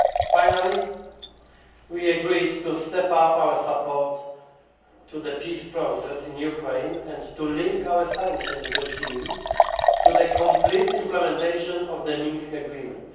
Finally, we agreed to step up our support to the peace process in Ukraine and to link our sanctions regime to the complete implementation of the Minsk Agreement.